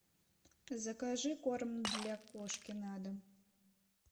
закажи корм для кошки на дом